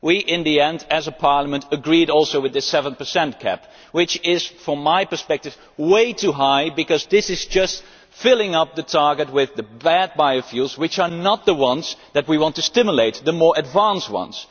In the end, we as a parliament, agreed also with the 7 cap which is, from my perspective, way too high, because this is just filling up the target with the bad biofuels which are not the ones that we want to stimulate we want to stimulate the more advanced ones.